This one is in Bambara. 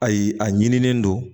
Ayi a ɲinilen don